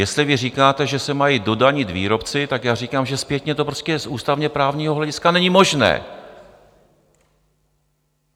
Jestli vy říkáte, že se mají dodanit výrobci, tak já říkám, že zpětně to prostě z ústavně-právního hlediska není možné.